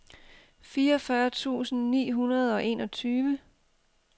fireogfyrre tusind ni hundrede og enogtyve